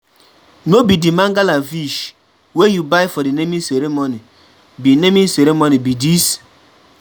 No be the mangala fish wey you buy for the naming ceremony be dis?